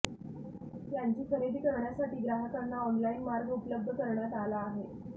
यांची खरेदी करण्यासाठी ग्राहकांना ऑनलाईन मार्ग उपलब्ध करणयात आला आहे